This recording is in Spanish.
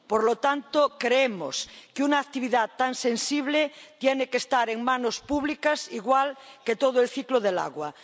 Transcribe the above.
Por lo tanto, creemos que una actividad tan sensible tiene que estar en manos públicas, igual que todo el ciclo del agua.